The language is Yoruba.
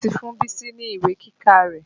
Mo ti fún Bísí ní ìwé kíkà rẹ̀.